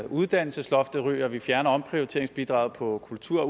uddannelsesloftet ryger vi fjerner omprioriteringsbidraget på kultur og